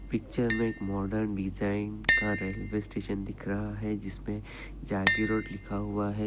Picture मे एक modern design का रेलवे स्टेशन दिख रहा है जिस पे जागी रोड लिखा हुआ है।